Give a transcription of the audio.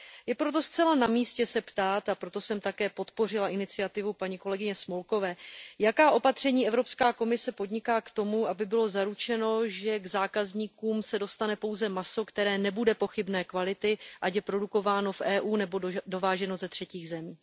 Je proto zcela namístě se ptát, a proto jsem také podpořila iniciativu paní kolegyně Smolkové, jaká opatření Evropská komise podniká k tomu, aby bylo zaručeno, že k zákazníkům se dostane pouze maso, které nebude pochybné kvality, ať je produkováno v EU, nebo dováženo ze třetích zemí.